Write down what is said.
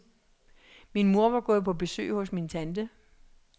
Min mor var gået på besøg hos min tante.